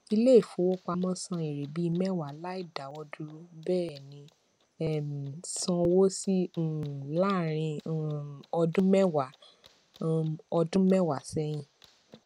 ilé ìfowópamọ san èèrè bíi mẹwa láì dáwọdúró bẹẹni um san owó síi um láàrín um ọdún mẹwa um ọdún mẹwa sẹyìn